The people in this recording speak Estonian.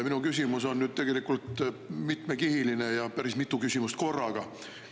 Minu küsimus on nüüd tegelikult mitmekihiline ja on päris mitu küsimust korraga.